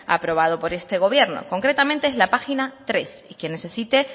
aprobado por este gobierno concretamente es la página tres y quien necesite